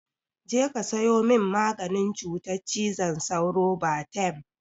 Je ka sayo min maganin cutar cizon sauro, Batem!